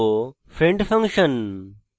friend function